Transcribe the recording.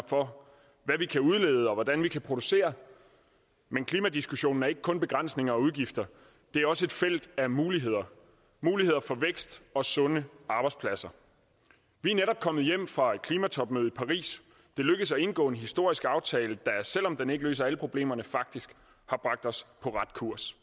for hvad vi kan udlede og hvordan vi kan producere men klimadiskussionen er ikke kun begrænsninger og udgifter det er også et felt af muligheder muligheder for vækst og sunde arbejdspladser vi er netop kommet hjem fra et klimatopmøde i paris det lykkedes at indgå en historisk aftale der selv om den ikke løser alle problemerne faktisk har bragt os på ret kurs